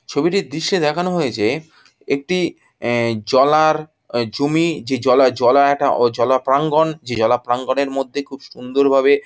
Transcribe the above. ছবিটির দৃশ্যে দেখানো হয়েছে একটি এ জলার অ জমি। যে জলা জলা একটা অ জলা প্রাঙ্গন। যে জলা প্রাঙ্গনের মধ্যে খুব সুন্দর ভাবে --